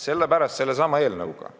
Sellepärast me andsime sellesama seadusega,